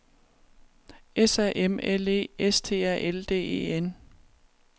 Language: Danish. S A M L E S T A L D E N